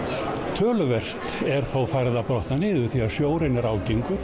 töluvert er þó farið að brotna niður því sjórinn er ágengur